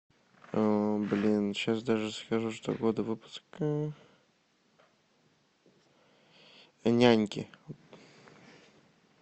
блин сейчас даже скажу что года выпуска няньки